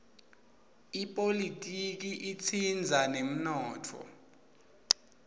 ipolitiki itsindza temnotfo